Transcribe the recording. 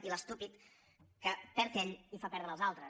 i l’estúpid que perd ell i fa perdre els altres